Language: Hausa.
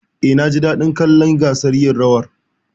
Eh, naji daɗin kallon gasar yin rawar.